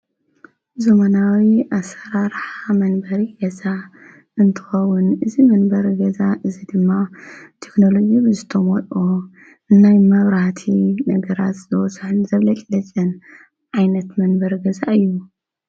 ዞመናዊ ኣሠራርሓ መንበሪ ገዛ እንትትከውን እዝ መንበር ገዛ እዝ ድማ ቴክንሎጊ ብዝተምልኦ እናይ መብራቲ ነገራት ዘወሳን ዘብለጥለጨን ኣይነት መንበር ገዛ እዩ።